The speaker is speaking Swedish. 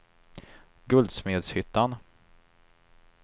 Guldsmedshyttan